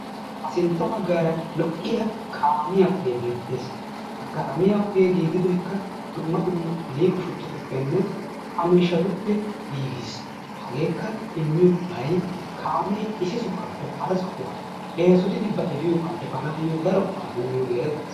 Ha sintta bagaara lo'iyaa kaamiyaa ogee beettes. Ha kaamiyaa ogee giigidoykka dumma dumma liiqo shuchatuppene a miishshatupe giigis. Hageekka immiyoo qofay kaamee issi sohaape hara sohaa eesotidi ba efiyoobaa efaanaayoo daro go'aa immiyoogee erettes.